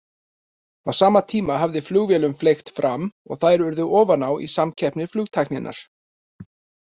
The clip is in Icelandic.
Á sama tíma hafði flugvélum fleygt fram og þær urðu ofan á í samkeppni flugtækninnar.